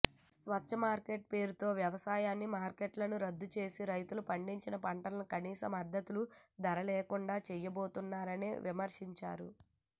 స్వేచ్ఛా మార్కెట్ పేరుతో వ్యవసాయ మార్కెట్లను రద్దు చేసి రైతులు పండించిన పంటలకు కనీస మద్దతు ధరల్లేకుండా చేయబోతున్నారని విమర్శించారు